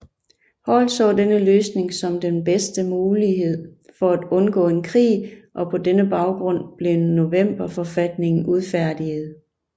Hall så denne løsning som den bedste mulighed for at undgå en krig og på denne baggrund blev novemberforfatningen udfærdiget